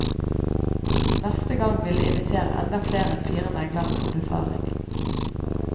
Neste gang vil de invitere enda flere enn fire meglere på befaring.